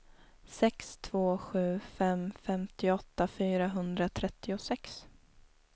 sex två sju fem femtioåtta fyrahundratrettiosex